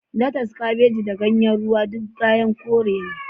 Latas, Kabeji da Ganyen Ruwa duk ganyen kore ne